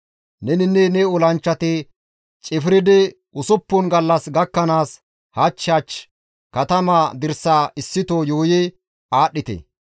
Neninne ne olanchchati cifridi usuppun gallas gakkanaas hach hach katamaa dirsaa issito yuuyi aadhdhite.